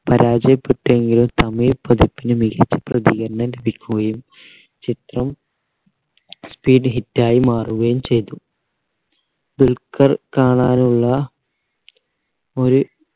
പരാജയപ്പെട്ടെങ്കിലും തമിഴ് പതിപ്പിന് മികച്ച പ്രതികരണം ലഭിക്കുകയും ചിത്രം speed hit ആയി മാറുകയും ചെയ്തു ദുൽഖർ കാണാനുള്ള ഒരു